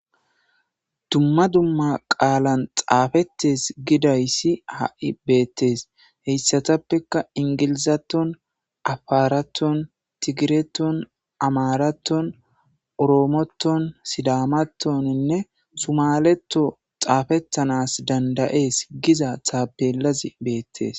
Dumma dumma xafetes gidayisi hai betes heisatappeka engilzeton afaraton tigreton amaraton oromoton sidamatoninne sumaleton xafetanasi dandayetes giza tapelazi betes.